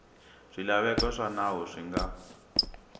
swilaveko swa nawu swi nga